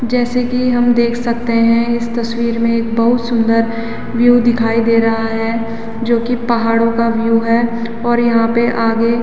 जैसे की हम देख सकते हैं इस तस्वीर में एक बहुत सुंदर विएव दिखाई दे रहा है जो कि पहाड़ो का व्यू है और यहाँ पे आगे --